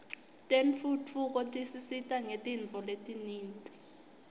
tentfutfuko tisisita ngetintfo letinyenti